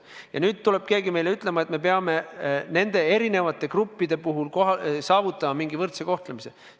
Ja nüüd tuleb keegi meile ütlema, et me peame nende erinevate gruppide puhul saavutama mingi võrdse kohtlemise.